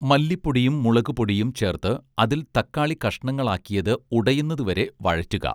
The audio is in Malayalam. മല്ലിപ്പൊടിയും മുളക്പൊടിയും ചേർത്ത് അതിൽ തക്കാളി കഷണങ്ങളാക്കിയത് ഉടയുന്നതുവരെ വഴറ്റുക